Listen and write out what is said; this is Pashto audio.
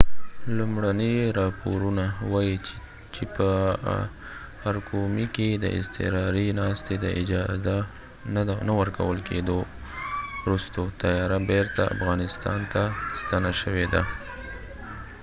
لومړني راپورونه وایي چې چې په ارقومي کې د اضطراري ناستې د اجازه نه ورکول کیدو وروسته طیاره بیرته افغانستان ته ستنه شوې ده